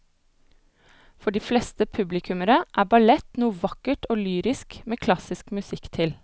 For de fleste publikummere er ballett noe vakkert og lyrisk med klassisk musikk til.